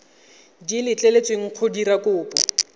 di letleletsweng go dira kopo